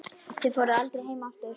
Þið fóruð aldrei heim aftur.